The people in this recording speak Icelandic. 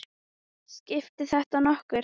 Skiptir þetta nokkru?